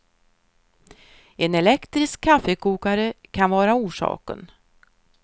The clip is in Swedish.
En elektrisk kaffekokare kan vara orsaken.